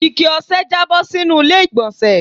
Ikẹ ọ̀sẹ̀ jabo sínú ilé igbonse